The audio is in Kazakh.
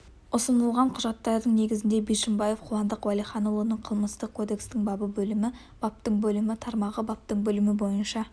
ұсынылған құжаттардың негізінде бишімбаев қуандық уәлиханұлын қылмыстық кодекстің бабы бөлімі баптың бөлімі тармағы баптың бөлімі бойынша